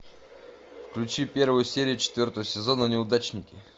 включи первую серию четвертого сезона неудачники